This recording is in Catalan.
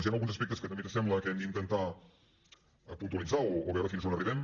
hi han alguns aspectes que també ens sembla que hem d’intentar puntualitzar o veure fins on arribem